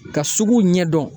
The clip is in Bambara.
Ka suguw ɲɛdɔn